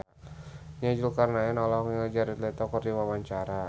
Nia Zulkarnaen olohok ningali Jared Leto keur diwawancara